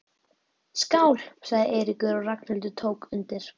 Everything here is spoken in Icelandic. Skál sagði Eiríkur og Ragnhildur tók undir.